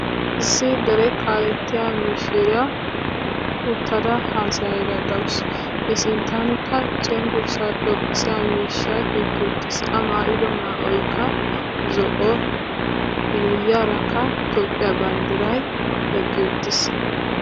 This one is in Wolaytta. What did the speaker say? Issi dere kaalettiyaa mishshiriyaa uttada haasayayda deawusu. I sinttanikka cenggurssa xoqqisiyaa miishshaykka utti wuttiis. A maayido maayoykka zo'o miyiyaraka toophphiya banddiray eqqi uttiis